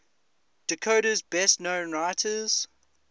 dakota's best known writers